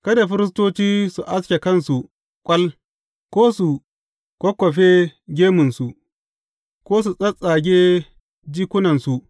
Kada firistoci su aske kansu ƙwal ko su kwakkwafe gemunsu, ko su tsattsage jikunansu.